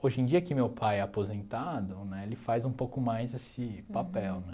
Hoje em dia que meu pai é aposentado né, ele faz um pouco mais esse papel, né?